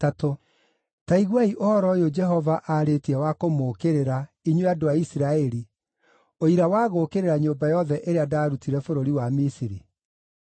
Ta iguai ũhoro ũyũ Jehova aarĩtie wa kũmũũkĩrĩra, inyuĩ andũ a Isiraeli, ũira wa gũũkĩrĩra nyũmba yothe ĩrĩa ndaarutire bũrũri wa Misiri: